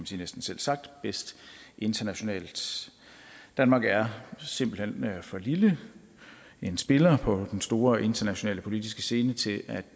sige selvsagt bedst internationalt danmark er simpelt hen for lille en spiller på den store internationale politiske scene til